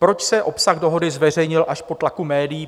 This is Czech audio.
Proč se obsah dohody zveřejnil až po tlaku médií?